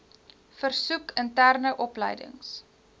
versoek interne opleidings